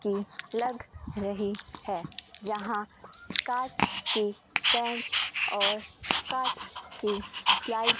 की लग रही है जहां कांच की बेंच और कांच की स्लाइड --